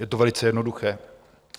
Je to velice jednoduché.